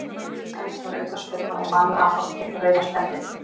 Dæmd var aukaspyrna og Valur Adolf fékk rauða spjaldið.